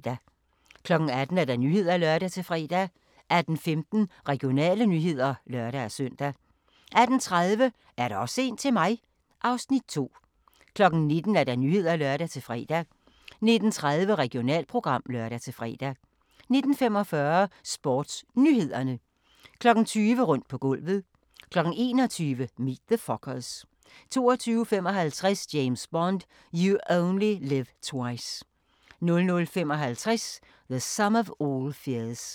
18:00: Nyhederne (lør-fre) 18:15: Regionale nyheder (lør-søn) 18:30: Er der også en til mig? (Afs. 2) 19:00: Nyhederne (lør-fre) 19:30: Regionalprogram (lør-fre) 19:45: SportsNyhederne 20:00: Rundt på gulvet 21:00: Meet the Fockers 22:55: James Bond: You Only Live Twice 00:55: The Sum of All Fears